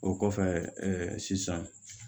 O kɔfɛ ɛɛ sisan